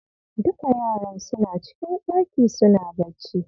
Duka yaran suna cikin ɗaki suna bacci.